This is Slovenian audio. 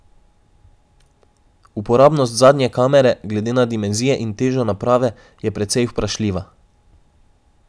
Uporabnost zadnje kamere, glede na dimenzije in težo naprave, je precej vprašljiva.